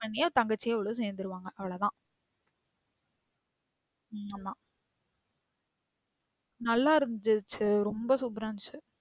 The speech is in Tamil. தங்கச்சியும் இவளும் சேந்துருவங்க அவ்ளோதான். ம் ஆமா நல்லாருந்துச்சு ரொம்ப super ஆ இருந்துச்சு.